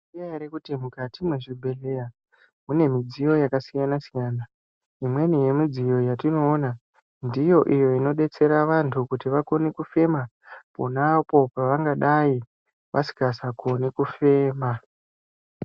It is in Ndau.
Munozviziya ere kuti mukati kwezvibhehlera mune midziyo yakasiyana siyana. Imweni yemidziyo yatinoona ndiyo iyo inodetsera antu kuti vakone kufema pona apo pavangadayi vasisakoni kufema.